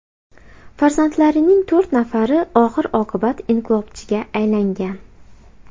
Farzandlarining to‘rt nafari oxir-oqibat inqilobchiga aylangan.